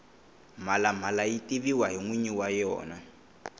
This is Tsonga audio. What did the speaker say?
mhalamala yi tiviwa hi nwinyi wa yena